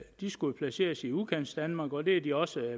de skulle placeres i udkantsdanmark og det er de også